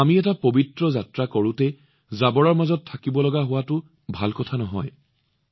আমি এটা পবিত্ৰ যাত্ৰালৈ যোৱাৰ সময়ত তাত এক আপৰ্জনৰা স্তূপ থাকক এইটো সঠিক নহয়